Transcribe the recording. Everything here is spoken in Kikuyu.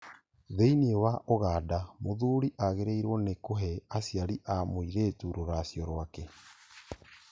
Thĩinĩ wa Uganda, mũthuri agĩrĩirwo nĩ kũhe aciari a mũirĩturũracio rwake.